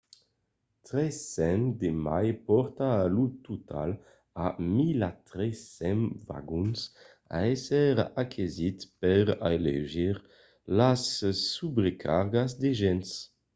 300 de mai pòrta lo total a 1 300 vagons a èsser aquesits per aleugerir las subrecargas de gents